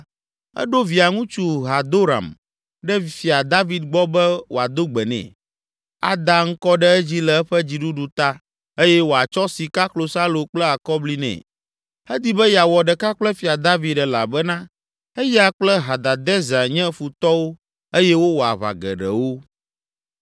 eɖo Via ŋutsu Hadoram ɖe Fia David gbɔ be wòado gbe nɛ, ada ŋkɔ ɖe edzi le eƒe dziɖuɖu ta eye wòatsɔ sika, klosalo kple akɔbli nɛ. Edi be yeawɔ ɖeka kple Fia David elabena eya kple Hadadezer nye futɔwo eye wowɔ aʋa geɖewo.